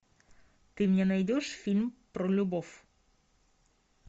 ты мне найдешь фильм про любовь